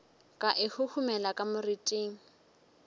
ka e huhumela ka moriting